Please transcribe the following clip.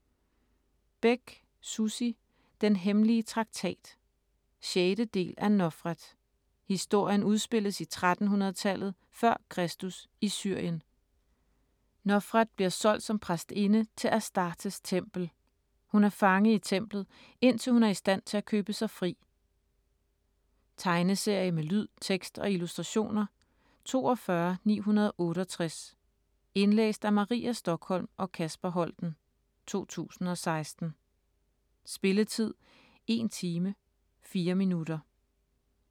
Bech, Sussi: Den hemmelige traktat 6. del af Nofret. Historien udspilles i 1300-tallet f.kr. i Syrien. Nofret bliver solgt som præstinde til Astartes tempel. Hun er fange i templet, indtil hun er i stand til at købe sig fri. Tegneserie med lyd, tekst og illustrationer 42968 Indlæst af Maria Stokholm og Kasper Holten, 2016. Spilletid: 1 time, 4 minutter.